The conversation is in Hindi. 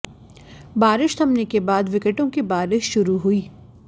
बारिश थमने के बाद विकेटों की बारिश शुरू हुई